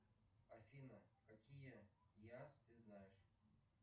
афина какие яз ты знаешь